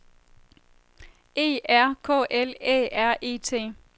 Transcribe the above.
E R K L Æ R E T